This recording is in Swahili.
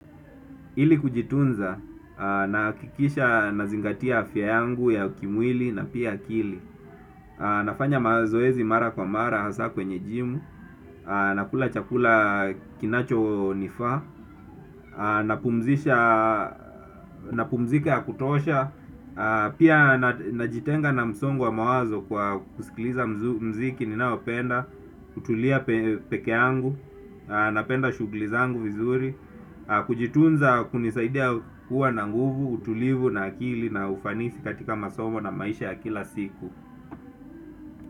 Ili kujitunza nahakikisha nazingatia afya yangu ya kimwili na pia akili. Nafanya mazoezi mara kwa mara hasa kwenye jimu. Nakula chakula kinacho nifaa. Napumzika ya kutosha. Pia najitenga na msongo wa mawazo kwa kusikiliza mziki ninaopenda. Kutulia peke yangu. Napenda shuglizangu vizuri. Kujitunza kunisaidia kuwa na nguvu, utulivu na akili na ufanisi katika masomo na maisha ya kila siku.